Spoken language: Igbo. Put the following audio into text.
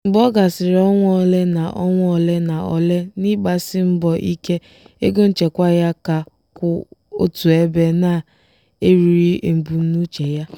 mgbe ọ gasịrị ọnwa ole na ọnwa ole na ole n'ịgbasi mbọ ike ego nchekwa ya ka kwụ otu ebe na-erughi ebumnuche ya.